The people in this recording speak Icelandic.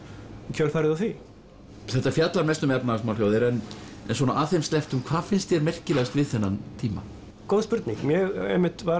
í kjölfarið á því þetta fjallar mest um efnahagsmál hjá þér en svona að þeim slepptum hvað finnst þér merkilegast við þennan tíma góð spurning ég einmitt var